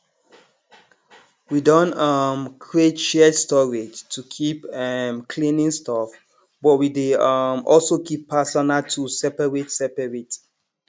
we don um create shared storage to keep um cleaning stuff but we dey um also keep personal tools separate separate